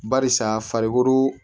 Barisa farikolo